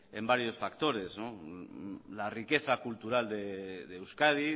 en varios factores la riqueza cultural de euskadi